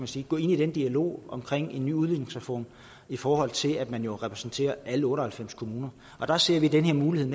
sige gå ind i dialogen om en ny udligningsreform i forhold til at man jo repræsenterer alle otte og halvfems kommuner der ser vi den her mulighed